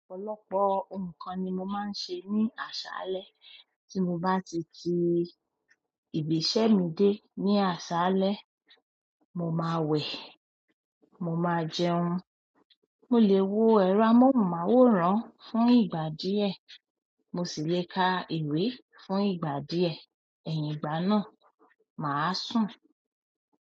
Ọ̀pọ̀lọpọ̀ ǹnkan ni mo máa ń ṣe ní àṣálẹ́, tí mo bá ti ti ìgbésẹ́ mi dé ní àṣálẹ́, mo máa wẹ̀, mo máa jẹun, mo lè wo ẹ̀rọ amóhùnmáwòrán fún ìgbà díẹ̀, mo sì lè ka ìwé fún ìgbà díẹ̀, ẹyin ìgbà náà, màá sùn.